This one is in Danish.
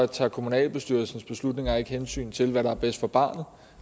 tager kommunalbestyrelsens beslutninger ikke hensyn til hvad der er bedst for barnet